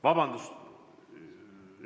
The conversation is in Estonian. Vabandust!